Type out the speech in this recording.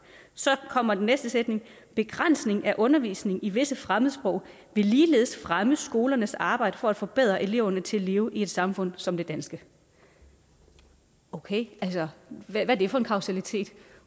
så kommer den næste sætning at begrænsning af undervisning i visse fremmedsprog ligeledes vil fremme skolernes arbejde for at forberede eleverne til at leve i et samfund som det danske okay altså hvad er det for en kausalitet